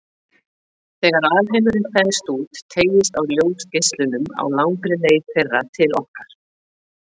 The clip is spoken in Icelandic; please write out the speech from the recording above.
Þegar alheimurinn þenst út, teygist á ljósgeislunum á langri leið þeirra til okkar.